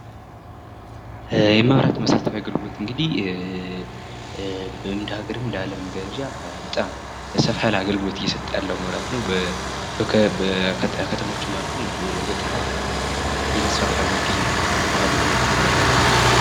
የመብራት መሰረታዊ አገልግሎት እንግዲህ እንደ ሃገርም በአለም ደረጃ ሰፋ ያለ አገልግሎት እየሰጠ ያለአገልግሎት ነው ። ከከተሞችም ወደ ገጠርአማ አካባቢወች እየተስፋፋ ያለ መሰረተ ልማት ነው የመብራት አገልግሎት።